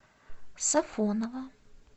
сафоново